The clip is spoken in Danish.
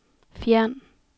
fjern